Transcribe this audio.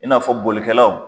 E n'afɔ bolikɛlaw